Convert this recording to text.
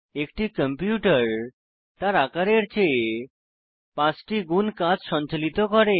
একটি কম্পিউটার তার আকারের চেয়ে পাঁচটি গুণ কাজ সঞ্চালিত করে